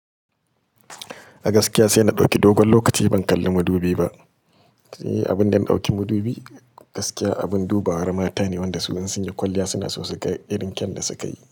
A gaskiya sai na ɗauki dogon lokaci ban kalli madubi ba. Abun da na ɗauki madubi gaskiya abin duba war mata ne wanda su in sunyi kwalliya suna so su ga irin kyau da suka yi.